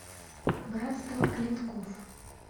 братство клинков